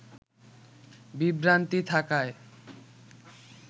বিভ্রান্তি থাকায়